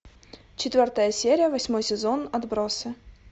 четвертая серия восьмой сезон отбросы